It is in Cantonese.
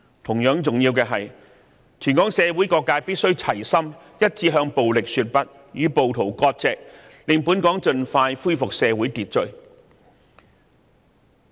同樣重要的是，香港社會各界必須齊心一致，向暴力說"不"，與暴徒割席，以期盡快恢復社會秩序。